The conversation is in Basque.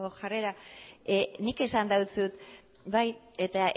jarrera nik esan dizut bai eta